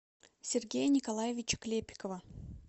сергея николаевича клепикова